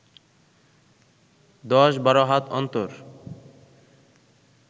দশ বারো হাত অন্তর